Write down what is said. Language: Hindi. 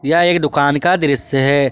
यह एक दुकान का दृश्य है।